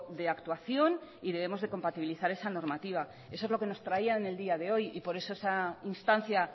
de actuación y debemos de compatibilizar esa normativa eso es lo que nos traía en el día de hoy y por eso esta instancia